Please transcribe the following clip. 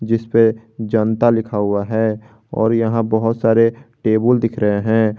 जिसपे जनता लिखा हुआ है और यहां बहुत सारे टेबल दिख रहे हैं।